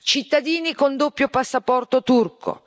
cittadini con doppio passaporto turco